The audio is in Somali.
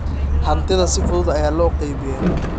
Hantida si fudud ayaa loo qaybiyaa.